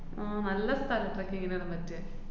ആഹ് നല്ല സ്ഥലാ trekking നൊക്കെ പറ്റിയെ